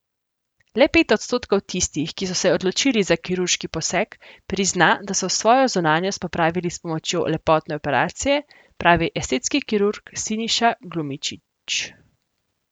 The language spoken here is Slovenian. Le pet odstotkov tistih, ki so se odločili za kirurški poseg, prizna, da so svojo zunanjost popravili s pomočjo lepotne operacije, pravi estetski kirurg Siniša Glumičić.